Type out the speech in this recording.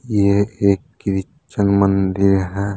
यह एक क्रिश्चियन मंदिर है।